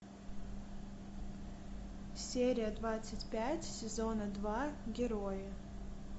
серия двадцать пять сезона два герои